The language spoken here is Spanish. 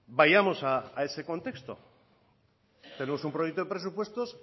vayamos a ese contexto tenemos un proyecto de presupuesto